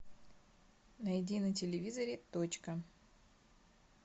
найди на телевизоре точка